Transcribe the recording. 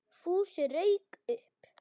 Fúsi rauk upp.